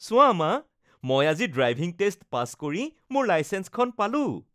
চোৱা মা, মই আজি ড্ৰাইভিং টেষ্ট পাছ কৰি মোৰ লাইচেন্সখন পালোঁ